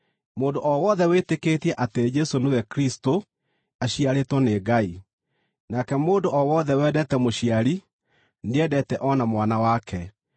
Mũndũ o wothe wĩtĩkĩtie atĩ Jesũ nĩwe Kristũ aciarĩtwo nĩ Ngai, nake mũndũ o wothe wendete mũciari nĩendete o na mwana wake.